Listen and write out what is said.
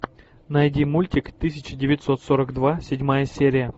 найди мультик тысяча девятьсот сорок два седьмая серия